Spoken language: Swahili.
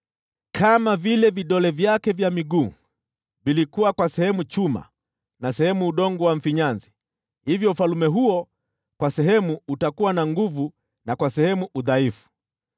Kama vile vidole vyake vya miguu vilikuwa kwa sehemu chuma na sehemu udongo wa mfinyanzi, hivyo ufalme huo kwa sehemu utakuwa na nguvu na kwa sehemu udhaifu.